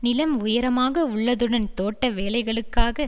நிலம் உயரமாக உள்ளதுடன் தோட்ட வேலைகளுக்காக